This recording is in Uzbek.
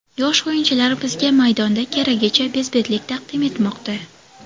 Yosh o‘yinchilar bizga maydonda keragicha bezbetlik taqdim etmoqda.